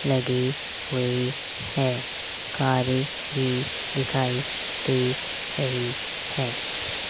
लगी हुई है कारे भी दिखाई दे रही है।